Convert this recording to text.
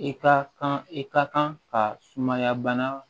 I ka kan i ka kan ka sumaya bana